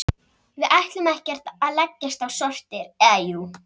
Við ætlum ekki að leggjast á sortir, eða jú.